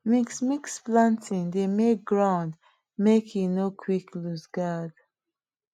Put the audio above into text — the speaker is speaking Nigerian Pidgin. mix-mix planting dey make ground make e nor quick looseguard